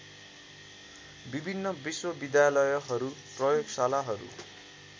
विभिन्न विश्वविद्यालयहरू प्रयोगशालाहरू